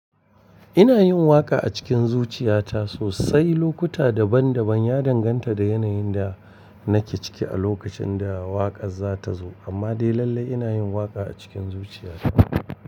Ina yin waƙa a cikin zuciya ta sosai, lokuta daban daban ya danganta da yanayin da nake ciki a lokacin da waƙar za ta zo, amma dai lalle ina yin waƙa a cikin zuciya ta.